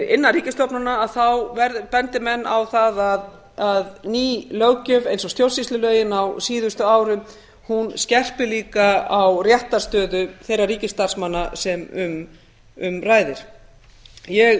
innan ríkisstofnana bendi menn á það að ný löggjöf eins og stjórnsýslulögin á síðustu árum hún skerpir líka á réttarstöðu þeirra ríkisstarfsmanna sem um ræðir ég